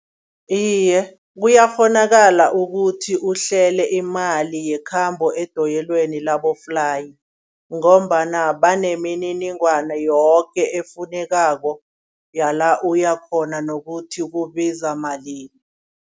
Iye kuyakghonakala ukuthi uhlele imali yekhambo edoyilweni laboflayi ngombana banemininingwana yoke efunekako yala uya khona nokuthi kubiza malini.